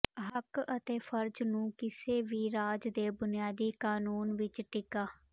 ਹੱਕ ਅਤੇ ਫਰਜ਼ ਨੂੰ ਕਿਸੇ ਵੀ ਰਾਜ ਦੇ ਬੁਨਿਆਦੀ ਕਾਨੂੰਨ ਵਿਚ ਟਿਕਾ